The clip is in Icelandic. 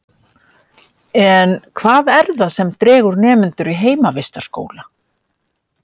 En hvað er það sem dregur nemendur í heimavistarskóla?